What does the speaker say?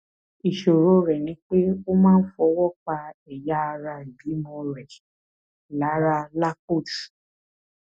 ìṣòro rẹ ni pé o máa ń fọwọ pa ẹyà ara ìbímọ rẹ lára lápò jù